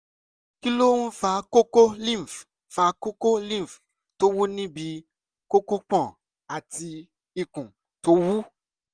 kí ló ń fa kókó lymph fa kókó lymph tó wú níbi kókópọ̀n àti ikùn tó wú?